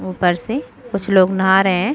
उपर से कुछ लोग नहा रहे है।